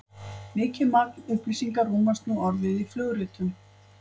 mikið magn upplýsinga rúmast nú orðið í flugritum